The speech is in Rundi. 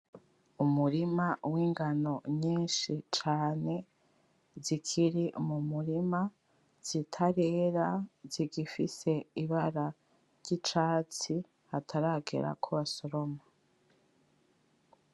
Umurima w'ingano nyinshi cane, zikiri mu murima zitarera zigifise ibara ry'icatsi hataragera ko basoroma.